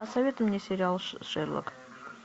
посоветуй мне сериал шерлок